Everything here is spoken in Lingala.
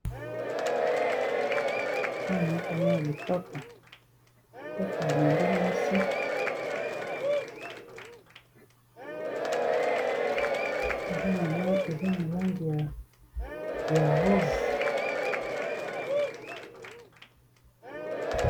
Awa nakomona lipapa, lipapa ya elenge mwasi eza na langi ya rose.